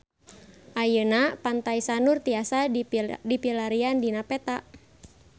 Ayeuna Pantai Sanur tiasa dipilarian dina peta